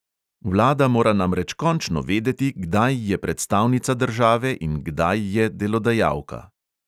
Vlada mora namreč končno vedeti, kdaj je predstavnica države in kdaj je delodajalka.